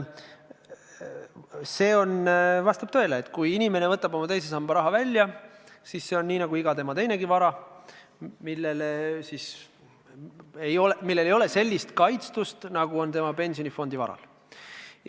Vastab tõele, et kui inimene võtab teisest sambast oma raha välja, siis on see samasugune nagu iga teine tema vara, millel ei ole sellist kaitstust, nagu on pensionifondis oleval varal.